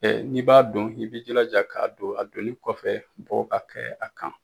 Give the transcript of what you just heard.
n'i b'a dɔn i b'i jilaja k'a don a donni kɔfɛ bɔ ka kɛ a kan.